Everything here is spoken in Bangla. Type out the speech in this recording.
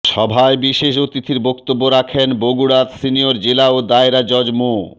সভায় বিশেষ অতিথির বক্তব্য রাখেন বগুড়ার সিনিয়র জেলা ও দায়রা জজ মো